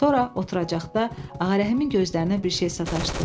Sonra oturacaqda Ağarəhimin gözlərinə bir şey sataşdı.